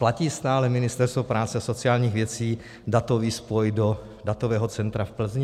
Platí stále Ministerstvo práce a sociálních věcí datový spoj do datového centra v Plzni?